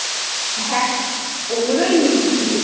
হ্যাঁ, ওগুলোই লিখবি।